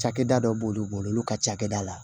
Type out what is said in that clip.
Cakɛda dɔ b'olu bolo olu ka cakɛda la